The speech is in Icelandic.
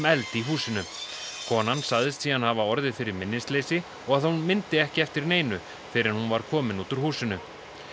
eld í húsinu konan sagðist síðan hafa orðið fyrir minnisleysi og að hún myndi ekki eftir neinu fyrr en hún var komin út úr húsinu